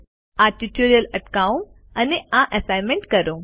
આ ટ્યુટોરીયલ અટકાવો અને આ એસાઈનમેન્ટ કરો